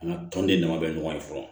An ka tɔnden dama bɛ ɲɔgɔn ye fɔlɔ